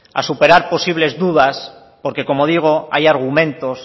a superar posibles dudas porque como digo hay argumentos